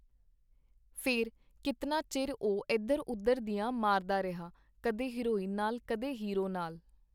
ਫੇਰ, ਕੀਤਨਾ ਚਿਰ ਉਹ ਏਧਰ-ਉਧਰ ਦੀਆਂ ਮਾਰਦਾ ਰਿਹਾ - ਕਦੇ ਹੀਰੋਇਨ ਨਾਲ, ਕਦੇ ਹੀਰੋ ਨਾਲ.